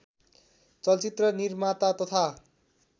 चलचित्र निर्माता तथा